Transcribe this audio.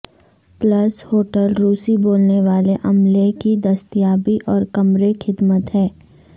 plus hotel روسی بولنے والے عملے کی دستیابی اور کمرے خدمت ہے